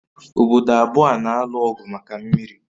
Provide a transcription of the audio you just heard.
Obodo abụọ a na-alụ ọgụ maka mmiri